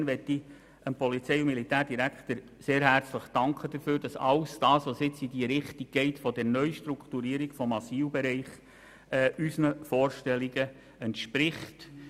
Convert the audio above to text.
Insofern möchte ich dem Polizei- und Militärdirektor sehr herzlich danken dafür, dass alles, was jetzt in die Richtung der Neustrukturierung im Asylbereich geht, unseren Vorstellungen entspricht.